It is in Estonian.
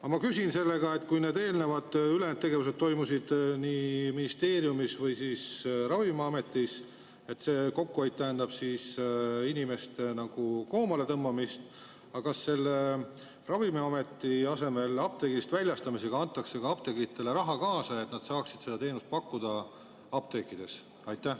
Aga ma küsin, et kui need tegevused enne toimusid ministeeriumis või Ravimiametis ja see kokkuhoid tähendab inimeste nagu koomaletõmbamist, siis kas nüüd, kui Ravimiameti asemel väljastatakse apteegist, antakse apteekritele ka raha, et nad saaksid seda teenust apteekides pakkuda?